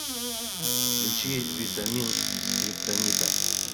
включи витамин скриптонита